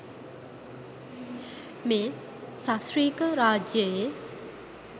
මේ සශ්‍රීක රාජ්‍යයේ